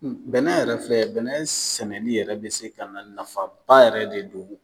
Bɛnɛ yɛrɛ filɛ bɛnɛ sɛnɛli yɛrɛ bɛ se ka na nafaba yɛrɛ de don